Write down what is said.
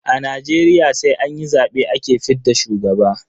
A Najeriya sai an yi zabe ake fidda shugaba.